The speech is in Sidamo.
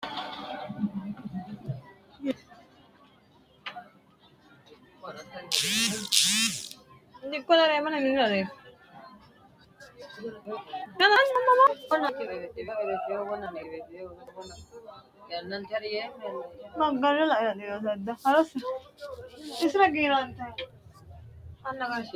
kuni uduunnichu mayii uduunnichooti? konni uduunnichiti horosi maati? mannu konne uduunnicho horonsire maa assa dandaanno? kuni uduunnichi danasi hiittooho ?